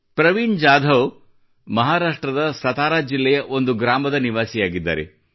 ಪ್ರವೀಣ್ ಜಾಧವ್ ಅವರು ಮಹಾರಾಷ್ಟ್ರದ ಸತಾರಾ ಜಿಲ್ಲೆಯ ಒಂದು ಗ್ರಾಮದನಿವಾಸಿಯಾಗಿದ್ದಾರೆ